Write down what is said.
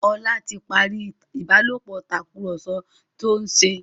Ola tí parí ìbálòpọ̀ Tàkùrọ̀sọ tíó nṣe.